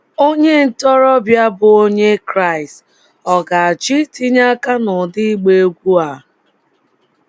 Onye ntorobịa bụ́ Onye Kraịst, ọ̀ ga - achọ itinye aka n’ụdị ịgba egwú a?